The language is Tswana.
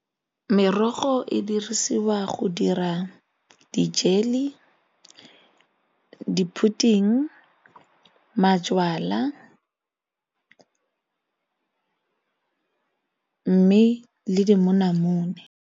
Merogo e dirisiwa go dira di-jelly, di-pudding, majalwa mme le dimonamone.